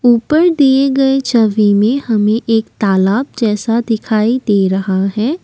उपर दिए गए छवि में हमे एक तालाब जैसा दिखाई दे रहा है।